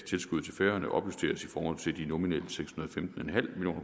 tilskuddet til færøerne opjusteres i forhold til de nominelle seks